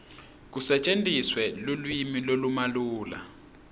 kusetjentiswe lulwimi lolumalula